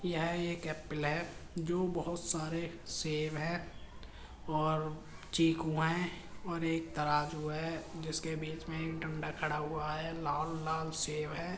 यह एक एप्पल है जो बहोत सारे सेव हैं और चीकू हैं और एक तराजू है जिसके बीच में एक डंडा खड़ा हुआ है। लाल-लाल सेव हैं।